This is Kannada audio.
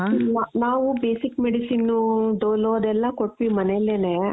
ಇಲ್ಲ ನಾವು basic medicine Dolo ಅದೆಲ್ಲ ಕೊಟ್ವಿ ಮನೆಲೆನೆ